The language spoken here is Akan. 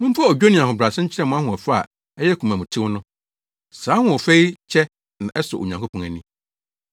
Momfa odwo ne ahobrɛase nkyerɛ mo ahoɔfɛ a ɛyɛ komamtew no. Saa ahoɔfɛ yi kyɛ na ɛsɔ Onyankopɔn ani.